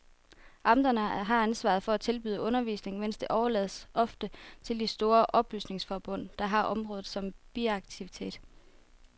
Amterne har ansvaret for at tilbyde undervisning, men det overlades ofte til de store oplysningsforbund, der har området som biaktivitet.